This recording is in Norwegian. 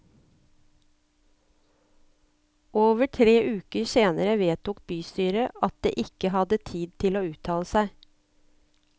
Over tre uker senere vedtok bystyret at det ikke hadde tid til å uttale seg.